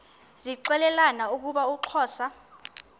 zixelelana ukuba uxhosa